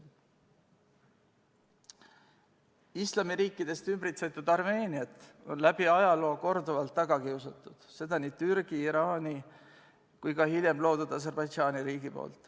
Islamiriikidest ümbritsetud Armeeniat on läbi ajaloo korduvalt taga kiusatud, seda on teinud nii Türgi, Iraan kui ka hiljem loodud Aserbaidžaani riik.